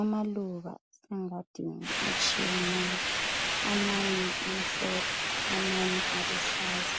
amaluba engadini atshiyeneyo ,amanye amhlophe amanye aluhlaza